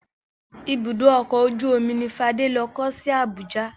Ibùdó ọkọ̀ ojú omi ni Fádé lọ kọ́ sí Abuja.